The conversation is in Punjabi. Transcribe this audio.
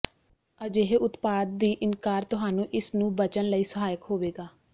ਅਜਿਹੇ ਉਤਪਾਦ ਦੀ ਇਨਕਾਰ ਤੁਹਾਨੂੰ ਇਸ ਨੂੰ ਬਚਣ ਲਈ ਸਹਾਇਕ ਹੋਵੇਗਾ